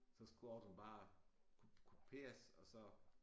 Så skulle ordren bare kopieres og så